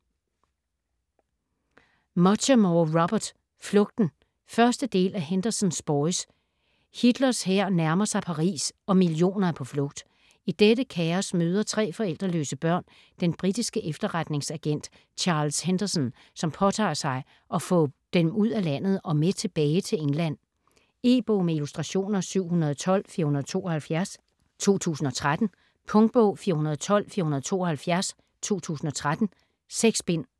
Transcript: Muchamore, Robert: Flugten 1. del af Henderson's boys. Hitlers hær nærmer sig Paris og millioner er på flugt. I dette kaos møder tre forældreløse børn den britiske efterretningsagent Charles Henderson, som påtager at få den ud af landet og med tilbage til England. E-bog med illustrationer 712472 2013. Punktbog 412472 2013. 6 bind.